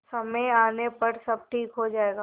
समय आने पर सब ठीक हो जाएगा